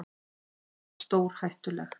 Hún var stórhættuleg.